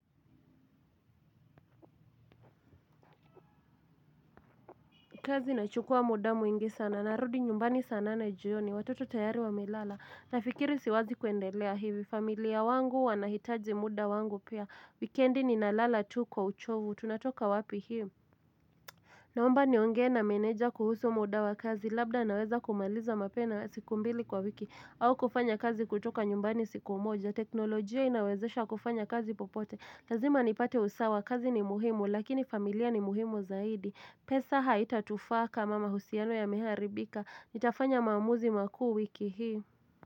Kazi inachukuwa muda mwingi sana narudi nyumbani saa nane jioni watoto tayari wamelala nafikiri siwezi kuendelea hivi familia wangu wanaitaji muda wangu pia wikendi nina lala tu kwa uchovu tunatoka wapi hii. Naomba nionge na menedja kuhusu modawa kazi labda naweza kumaliza mapena siku mbili kwa wiki au kufanya kazi kutoka nyumbani siku moja. Teknolojia inawezesha kufanya kazi popote. Lazima nipate usawa kazi ni muhimu lakini familia ni muhimu zaidi. Pesa haitatufaa kama mahusiano yameharibika. Nitafanya maamuzi makuu wiki hii.